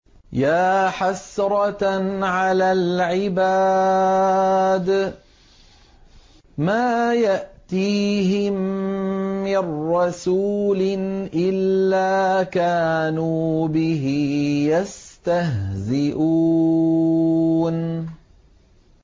يَا حَسْرَةً عَلَى الْعِبَادِ ۚ مَا يَأْتِيهِم مِّن رَّسُولٍ إِلَّا كَانُوا بِهِ يَسْتَهْزِئُونَ